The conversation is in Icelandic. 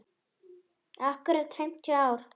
Akkúrat fimmtíu ár.